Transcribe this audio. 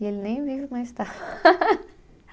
E ele nem vivo mais está